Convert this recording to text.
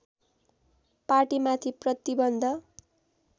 पार्टीमाथि प्रतिबन्ध